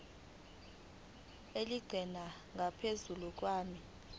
elingeqi ngaphezu kwenani